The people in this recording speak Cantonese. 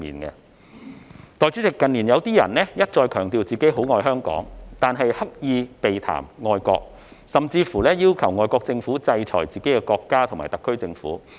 代理主席，近年有些人一再強調很愛香港，但卻刻意避談愛國，甚至要求外國政府制裁自己的國家及特區政府。